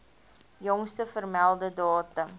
jongste vermelde datum